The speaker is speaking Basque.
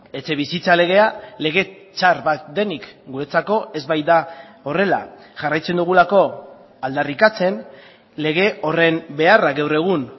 etxebizitza legea lege txar bat denik guretzako ez baita horrela jarraitzen dugulako aldarrikatzen lege horren beharra gaur egun